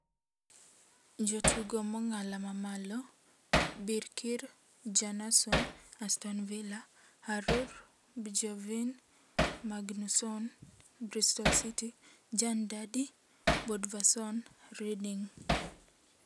Jotugo mong'ala mamalo: Birkir Bjarnason (Aston Villa), Horour Bjorgvin Magnusson (Bristol City), Jon Dadi Bodvarsson (Reading).